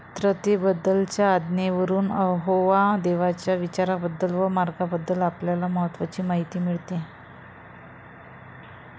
पवित्रतेबद्दलच्या आज्ञेवरून यहोवा देवाच्या विचारांबद्दल व मार्गांबद्दल आपल्याला महत्त्वाची माहिती मिळते.